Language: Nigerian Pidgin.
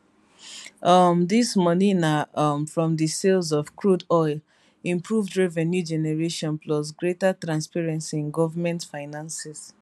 um dis money na um from di sales of crude oil improved revenue generation plus greater transparency in government finances